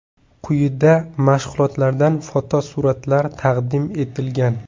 Quyida mashg‘ulotlardan fotosuratlar taqdim etilgan.